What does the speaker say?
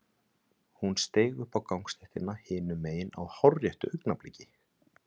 Hún steig upp á gangstéttina hinum megin á hárréttu augnabliki.